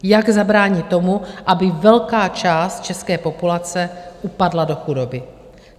Jak zabránit tomu, aby velká část české populace upadla do chudoby?